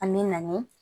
An bɛ na ni